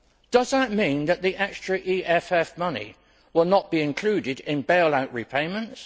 Does that mean that the extra EFF money will not be included in bailout repayments?